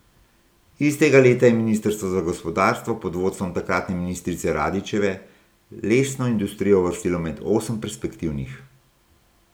Istega leta je ministrstvo za gospodarstvo pod vodstvom takratne ministrice Radićeve lesno industrijo uvrstilo med osem perspektivnih.